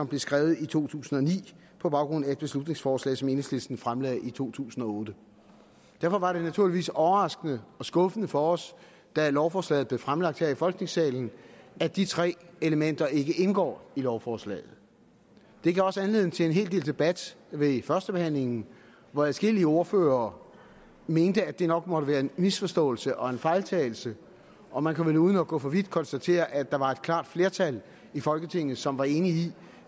blev skrevet i to tusind og ni på baggrund af et beslutningsforslag som enhedslisten fremsatte i to tusind og otte derfor var det naturligvis overraskende og skuffende for os da lovforslaget blev fremsat her i folketingssalen at de tre elementer ikke indgår i lovforslaget det gav også anledning til en hel del debat ved førstebehandlingen hvor adskillige ordførere mente at det nok måtte være en misforståelse og en fejltagelse og man kan vel uden at gå for vidt konstatere at der var et klart flertal i folketinget som var enige i